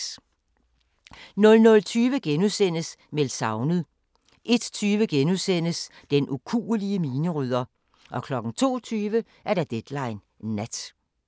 00:20: Meldt savnet * 01:20: Den ukuelige minerydder * 02:20: Deadline Nat